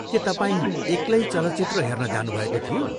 के तपाईँ एक्लै चलचित्र हेर्न जानुभएको थियो?